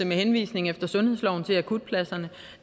med henvisning efter sundhedsloven til akutpladserne